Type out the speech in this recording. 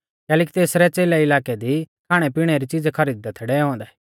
कैलैकि तेसरै च़ेलै इलाकै दी खाणैपिणै री च़ीज़ै खरीद दै थै डैऔ औन्दै